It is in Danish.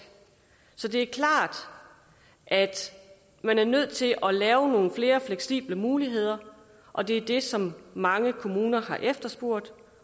så det er klart at man er nødt til at lave nogle flere fleksible muligheder og det er det som mange kommuner har efterspurgt